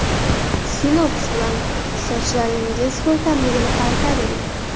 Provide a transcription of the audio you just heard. SINOX bilan sochlaringiz ko‘rkamligini qaytaring!